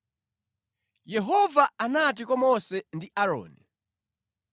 Yehova anati kwa Mose ndi Aaroni: